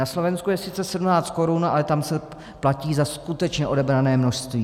Na Slovensku je sice 17 korun, ale tam se platí za skutečně odebrané množství.